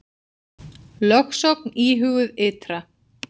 Lögsókn íhuguð ytra